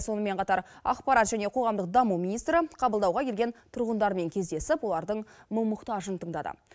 сонымен қатар ақпарат және қоғамдық даму министрі қабылдауға келген тұрғындармен кездесіп олардың мұң мұқтажын тыңдады